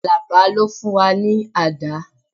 Alaba ló fún wa ní ọ̀dà